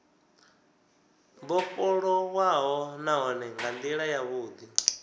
vhofholowaho nahone nga ndila yavhudi